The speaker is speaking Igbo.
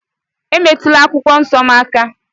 Emetụla akwụkwọ nsọ m aka!